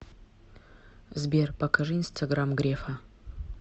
сбер покажи инстаграм грефа